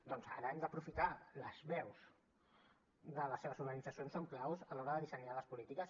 doncs ara hem d’aprofitar les veus de les seves organitzacions són claus a l’hora de dissenyar les polítiques